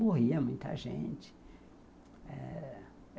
Morria muita gente eh